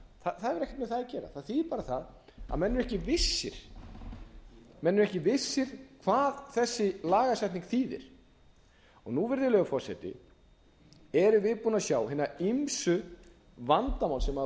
ekkert með það að gera það þýðir bara það að menn eru ekki vissir hvað þessi lagasetning þýðir nú virðulegur forseti erum við búin að sjá hin ýmsu vandamál sem hafa